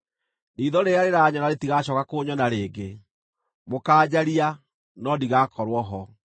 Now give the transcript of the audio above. Riitho rĩrĩa rĩranyona rĩtigacooka kũnyona rĩngĩ; mũkaanjaria, no ndigakorwo ho.